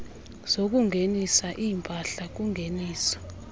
zokungenisa iimpahla kungeniso